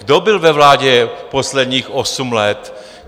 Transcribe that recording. Kdo byl ve vládě posledních osm let?